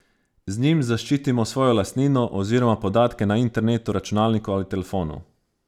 Z njim zaščitimo svojo lastnino oziroma podatke na internetu, računalniku ali telefonu.